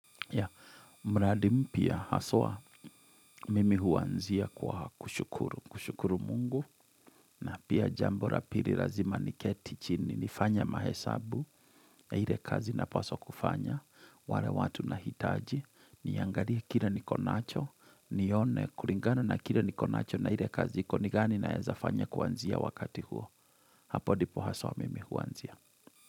Ya, mradi mpya haswa mimi huanzia kwa kushukuru, kushukuru mungu na pia jambo la pili lazima niketi chini nifanye mahesabu ya ile kazi napaswa kufanya, wale watu nahitaji, Niangalie kile niko nacho, nione kulingana na kile niko nacho na ile kazi iko ni gani naezafanya kuanzia wakati huo Hapo ndipo haswa mimi huanzia.